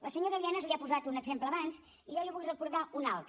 la senyora lienas li ha posat un exemple abans i jo n’hi vull recordar un altre